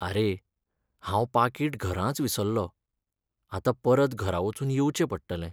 आरे, हांव पाकीट घरांच विसरलों. आतां परत घरा वचून येवचें पडटलें.